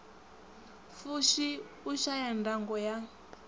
fushi u shaya ndango ya